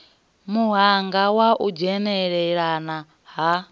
muhanga wa u dzhenelelana ha